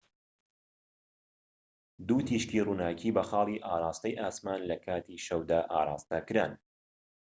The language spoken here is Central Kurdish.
دوو تیشکی ڕووناكی بە خاڵی ئاڕاستەی ئاسمان لە کاتی شەودا ئاڕاستەکران